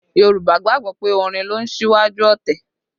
Yorùbá gbàgbọ́ pé orin ló ń ṣíwájú ọ̀tẹ̀